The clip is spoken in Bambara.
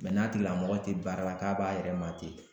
Mɛ n'a tigilamɔgɔ tɛ baara la k'a b'a yɛrɛ ma ten